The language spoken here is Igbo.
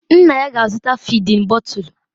Nna ya ga-azụta fịdin bọtul.